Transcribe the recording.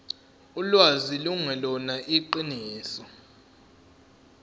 ulwazi lungelona iqiniso